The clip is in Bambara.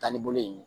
Taa ni bolo in ye